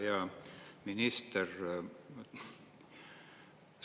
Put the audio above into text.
Hea minister!